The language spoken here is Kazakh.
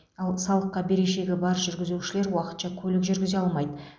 ал салыққа берешегі бар жүргізушілер уақытша көлік жүргізе алмайды